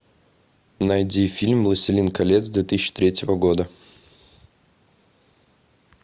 найди фильм властелин колец две тысячи третьего года